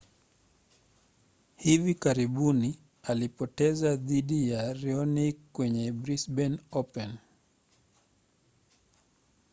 hivi karibuni alipoteza dhidi ya raonic kwenye brisbane open